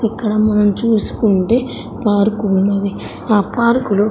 ఇక్కడ మనం చూసుకుంటే పార్క్ ఉన్నది ఆ పార్కులో --